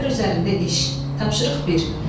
Əsər üzərində iş, tapşırıq bir.